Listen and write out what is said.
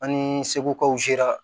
An ni seku kaw sera